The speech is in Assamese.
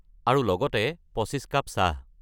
আৰু লগতে ২৫ কাপ চাহ।